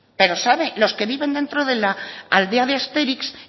pero sabe los que viven dentro de la aldea de astérix